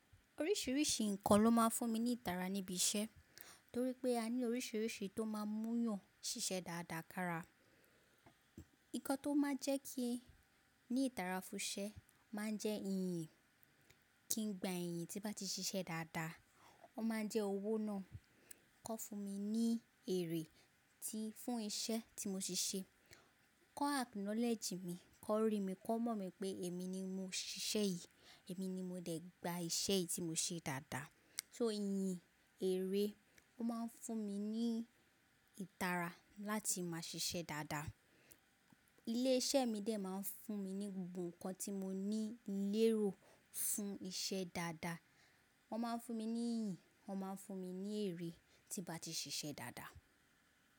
Oríṣìíríṣìí nǹkan ló máa ń fún mi ní ìtara níbi iṣẹ́ torí pé a ní oríṣìíríṣìí tó máa ń múyàn ṣiṣẹ́ dáadáa kára. Nǹkan tó máa ń jẹ́ kí ẹ ní ìtara fún iṣẹ́ máa ń jẹ́ iyìn. Kí n gba ìyìn tí nbá ti ṣiṣẹ́ dáadáa. Ó máa ń jẹ́ owó náà. Kọ́ fún mi ní èrè tí fún iṣẹ́ tí mo ṣe ṣe. Kọ́ acknowledge mi, kọ́ rí mi, kọ́ mọ̀ mi pé èmi ni mo ṣiṣẹ́ yìí, èmi ni mo dẹ̀ gba iṣẹ́ yìí tí mo ṣe dáadáa. So iyì, èrè ó máa ń fún mi ní ìtara láti máa ṣiṣẹ́ dáadáa. Ilé iṣẹ́ mi dè máa ń fún mi ní gbogbo nǹkan tí mo ní lérò fún iṣẹ́ dáadáa. Wọ́n máa ń fún mi ní iyì, wọ́n máa ń fún mi ní èrè tí bá ti ṣiṣẹ́ dáadáa.